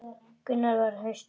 Gunnar var hastur.